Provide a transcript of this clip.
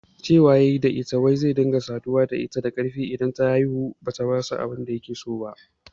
Cewa yayi da ita wai zai rika saduwa da ita da karfi idan ta kaurace masa bayan ta haifu